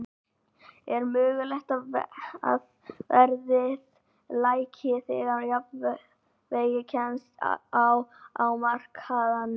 Er mögulegt að verðið lækki þegar jafnvægi kemst á á markaðnum?